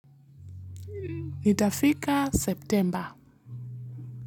Nitafika September.